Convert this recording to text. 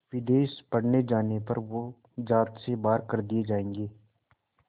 विदेश पढ़ने जाने पर वो ज़ात से बाहर कर दिए जाएंगे